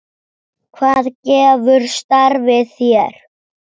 Hvað gefur starfið þér?